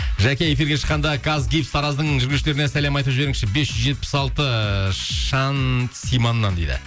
жаке эфирге шыққанда казгипс тараздың жүргізушілерне сәлем айтып жіберіңізші бес жүз жетпіс алты шансиманнан дейді